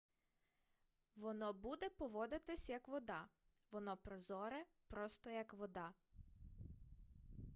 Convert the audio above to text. воно буде поводитися як вода воно прозоре просто як вода